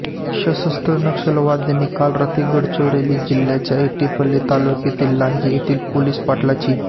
सशस्त्र नक्षलवाद्यांनी काल रात्री गडचिरोली जिह्याच्या एटापल्ली तालुक्यातील लांजी येथील पोलीस पाटलाची